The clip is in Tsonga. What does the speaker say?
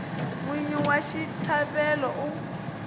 n wini wa xitlhavelo u